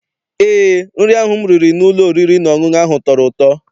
Eé, nri ahụ m riri n'ụlọ oriri na ọṅụṅụ ahụ tọrọ ụtọ.